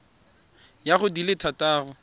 ya go di le thataro